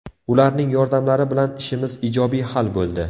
Ularning yordamlari bilan ishimiz ijobiy hal bo‘ldi.